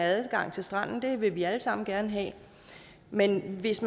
adgang til stranden det vil vi alle sammen gerne have men hvis